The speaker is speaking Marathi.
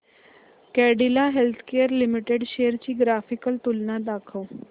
कॅडीला हेल्थकेयर लिमिटेड शेअर्स ची ग्राफिकल तुलना दाखव